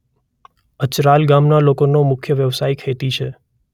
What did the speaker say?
અચરાલ ગામના લોકોનો મુખ્ય વ્યવસાય ખેતી છે.